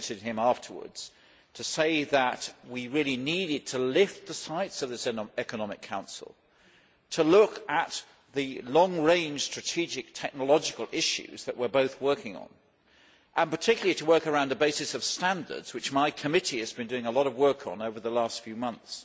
I visited him afterwards to say that we needed to lift the sights of this Economic Council to look at the long range strategic technological issues that we are both working on, and particularly to work around the basis of standards which my committee has been doing a lot of work on over the last few months.